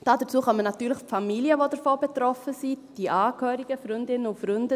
Hinzu kommen natürlich die Familien, die davon betroffen sind, die Angehörigen, Freundinnen und Freunde.